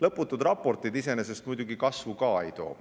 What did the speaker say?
Lõputud raportid iseenesest muidugi kasvu ka ei too.